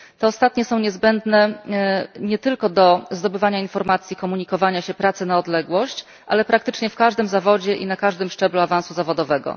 Te ostatnie są niezbędne nie tylko do zdobywania informacji, komunikowania się w pracy na odległość, ale praktycznie w każdym zawodzie i na każdym szczeblu awansu zawodowego.